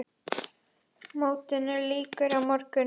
Mótinu lýkur á morgun.